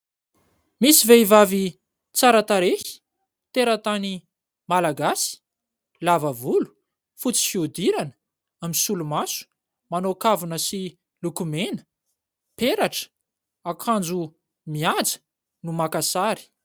Misy vehivavy tsara tarehy teratany malagasy, lava volo, fotsy fiodirana, misolomaso, manao kavina sy lokomena, peratra, akanjo mihaja no maka sary.